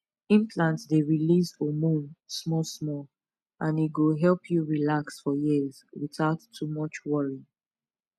implant dey release hormone small small and e go help you relax for years without too much worry